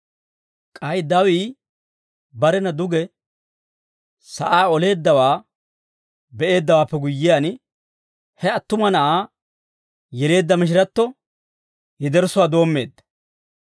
K'ay dawii barena duge sa'aa oleeddawaa be'eeddawaappe guyyiyaan, he attuma na'aa yeleedda mishiratto yederssuwaa doommeedda.